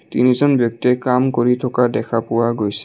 তিনিজন ব্যক্তিয়ে কাম কৰি থকা দেখা পোৱা গৈছে।